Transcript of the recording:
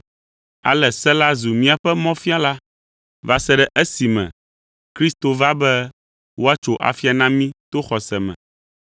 Ale se la zu míaƒe mɔfiala va se ɖe esime Kristo va be woatso afia na mí to xɔse me.